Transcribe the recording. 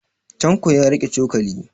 Tanko ya riƙe cokali.